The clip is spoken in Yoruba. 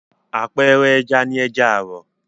Àpẹẹrẹ ẹja ni ẹja àrọ̀.